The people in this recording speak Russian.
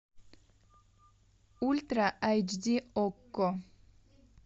ультра эйч ди окко